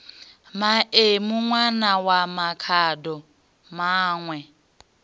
maemu ṋwana wa makhado maṋwe